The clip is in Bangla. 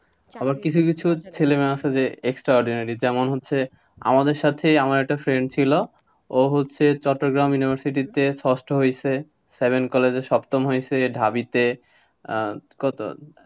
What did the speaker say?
আবার কিছু কিছু ছেলে মেয়ে আছে যে extraordinary যেমন হচ্ছে, আমাদের সাথেই আমার একটা friend ছিল, ও হচ্ছে চট্টগ্রাম university তে ষষ্ঠ হইসে, college এ সপ্তম হইসে, ঢাবি তে আহ কত,